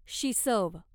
शिसव